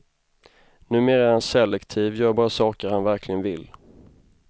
Numera är han selektiv, gör bara saker han verkligen vill.